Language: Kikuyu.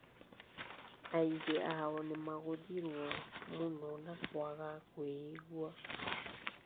Angĩ ao nĩmagũthirwo mũno na kũaga kũĩigua